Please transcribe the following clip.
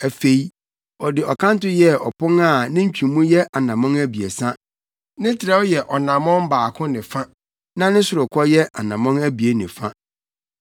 Afei, ɔde ɔkanto yɛɛ ɔpon a ne ntwemu yɛ anammɔn abiɛsa; ne trɛw yɛ ɔnammɔn baako ne fa na ne sorokɔ yɛ anammɔn abien ne fa.